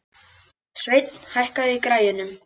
Sveinn, hækkaðu í græjunum.